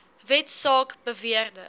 wet saak beweerde